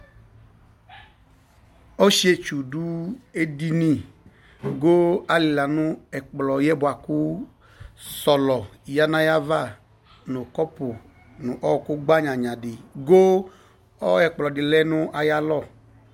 Ɔsietsʊ dʊ edɩnɩ goo alɩla nʊ ɛkplɔyɛ buaku sɔlɔ yanʊ ayava nʊ kɔpʊ nʊ ɔkʊ gbanyanyadɩ goo ɛkplɔdɩ lɛnu ayalɔ